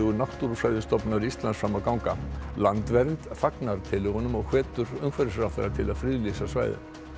Náttúrufræðistofnunar Íslands fram að ganga landvernd fagnar tillögunum og hvetur umhverfisráðherra til að friðlýsa svæðið